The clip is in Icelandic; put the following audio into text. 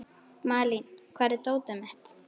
Malín, hvar er dótið mitt?